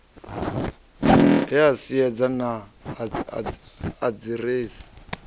he a siedza naa aḓiresi